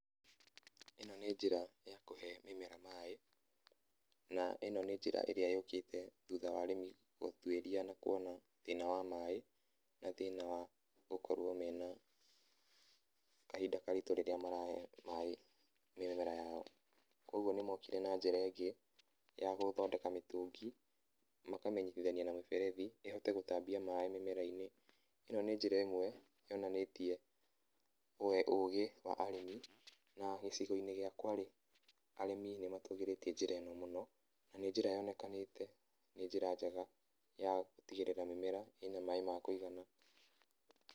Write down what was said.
Ĩno nĩ njĩra ya kũhe mĩmera maĩ. Na ĩno nĩ njĩra ĩrĩa yũkĩte thutha wa arĩmi gũtuĩria na kuona thĩna wa maĩ na thĩna wa gũkorwo me na kahinda karitũ rĩrĩa marahe maĩ mĩmera yao. Koguo nĩmokire na njĩra ĩngĩ ya gũthondeka mĩtũngi, makamĩnyitithania na mĩberethi, ĩhote gũtambia maĩ mĩmera-inĩ. Ĩno nĩ njĩra ĩmwe yonanĩtie ũgĩ wa Arĩmi. Na gĩcigo-inĩ gĩakwa-rĩ, Arĩmi nĩmatũgĩrĩtie njĩra ĩno mũno. Na nĩ njĩra yonekanĩte nĩ njĩra njega ya gũtigĩrĩra mĩmera ĩna maĩ ma kũigana.